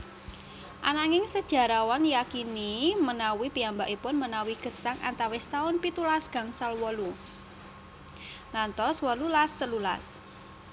Ananging sejarawan yakini menawi piyambakipun menawi gesang antawis taun pitulas gangsal wolu ngantos wolulas telulas